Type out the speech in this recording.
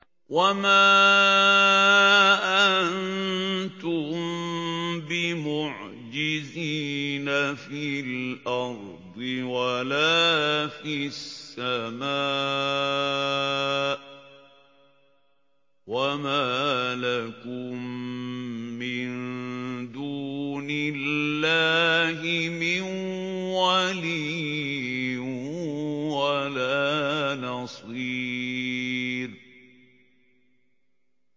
وَمَا أَنتُم بِمُعْجِزِينَ فِي الْأَرْضِ وَلَا فِي السَّمَاءِ ۖ وَمَا لَكُم مِّن دُونِ اللَّهِ مِن وَلِيٍّ وَلَا نَصِيرٍ